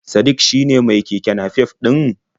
Sadik shine mai keke nafef ɗin?